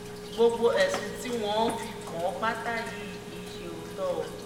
gbogbo ẹ̀sùn tí wọ́n fi kàn án pátá yìí kì í ṣe òótọ́ o